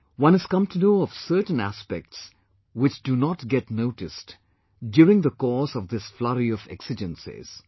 One has come to know of certain aspects which do not get noticed during the course of this flurry of exigencies